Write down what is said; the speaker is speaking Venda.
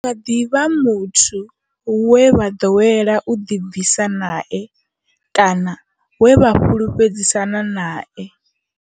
Hu nga ḓi vha muthu we vha ḓowela u ḓibvisa nae kana we vha fhulufhedzisana nae.